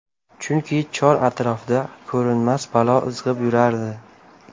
Chunki chor-atrofda ko‘rinmas balo izg‘ib yurardi.